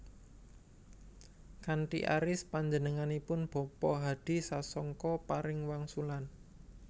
Kanthi aris panjenenganipun bapa hadi sasongko paring wangsulan